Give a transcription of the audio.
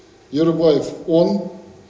ерубаев он